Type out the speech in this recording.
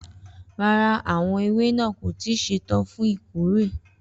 Rara, awọn ewa naa ko ti ṣetan fun ikore.